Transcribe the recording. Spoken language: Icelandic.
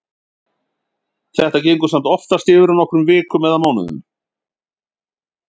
Þetta gengur samt oftast yfir á nokkrum vikum eða mánuðum.